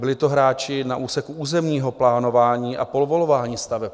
Byli to hráči na úseku územního plánování a povolování staveb.